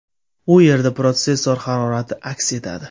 U yerda protsessor harorati aks etadi.